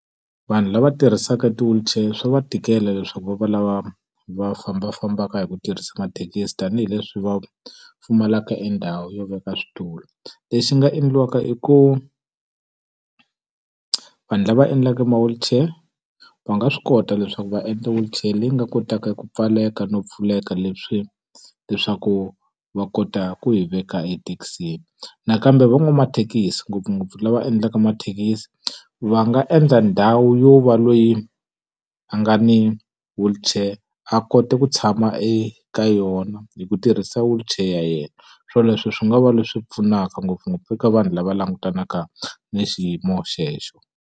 Vanhu lava tirhisaka ti-wheelchair swa va tikela leswaku va va lava va fambafambaka hi ku tirhisa mathekisi tanihileswi va pfumalaka e ndhawu yo veka switulu. Lexi nga endliwaka i ku vanhu lava endlaka ma-wheelchair, va nga swi kota leswaku va endla wheelchair leyi nga kotaka ku pfaleka no pfuleka leswaku va kota ku yi veka ethekisini. Nakambe van'wamathekisi ngopfungopfu lava endlaka mathekisi, va nga endla ndhawu yo va loyi a nga ni wheelchair a kota ku tshama eka yona hi ku tirhisa wheelchair ya yena. Swoleswo swi nga va leswi pfunaka ngopfungopfu eka vanhu lava langutanaka ni xiyimo xexo.